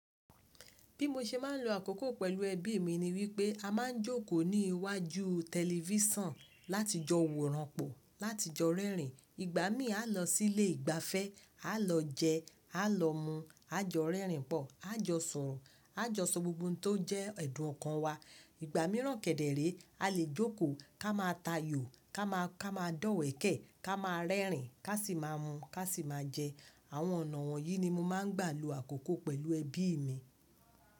Bí mo ṣe máa ń lo àkókò pẹ̀lú ẹbí mi ni wípé a máa ń jókòó ní iwájú tẹlifísàn láti jọ wòranpọ̀, láti jọ rẹ́rìn. Ìgbà mí a lọ sí ilé ìgbafẹ́, a lọ jẹ, a lọ mu, a jọ rẹ́rìn pọ̀, a jọ soro, a jọ sọ gbogbo ohun tó jẹ́ ẹdùn ọkàn wa. Ìgbà míràn kẹ̀dẹ̀ ré a lè jókòó ká máa tayò, ká máa, ká máa dọ̀wẹ̀kẹ̀, ká máa rẹ́rìn, ká sì máa mu, ká sì máa jẹ. Àwọn ọ̀nà wọ̀nyí ni mo máa ń gbà lo àkókò pẹ̀lú ẹbí mi.